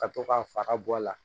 Ka to ka fara bɔ a la